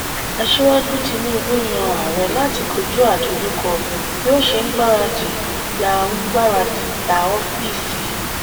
asíwájú tinubu yan ààrẹ láti kojú àdojúko bí o ṣe n gbaradi gbà n gbaradi gbà oofiisi.